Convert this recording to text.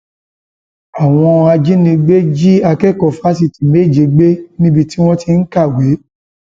àwọn ajínigbé jí akẹkọọ fásitì méje gbé níbi tí wọn ti ń kàwé